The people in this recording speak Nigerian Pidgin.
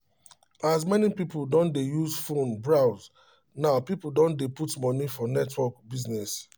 as many people don dey use phone browse now people don dey put money for network business